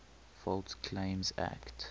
false claims act